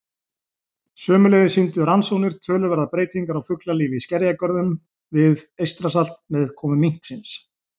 Sömuleiðis sýndu rannsóknir töluverðar breytingar á fuglalífi í skerjagörðum við Eystrasalt með komu minksins.